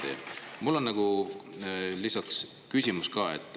Aga mul on küsimus ka.